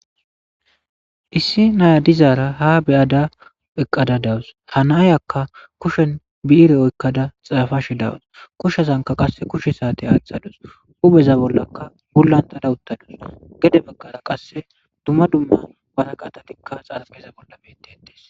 Issi naya dizaara ha beyada eqqada dawus hanaayakka kushen bi7ire oykkada xaafashe dawus kushazanka qasse kushe saate aaxadus ubeza bollaka gulantada uttadus gede bakkara qasse dumma dumma baraqatatikka xapeza bolla bete etes.